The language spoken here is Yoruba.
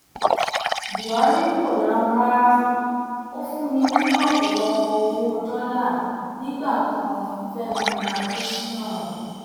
buhari kò lahùn rárá ó fún mi lọpọlọpọ owó dọlà nígbà kan fẹmi adésínà